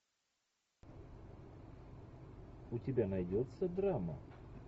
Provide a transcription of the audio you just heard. у тебя найдется драма